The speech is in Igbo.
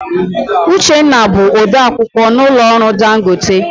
Uchenna bụ ode akwukwọ n'ụlọ ọrụ Dangote.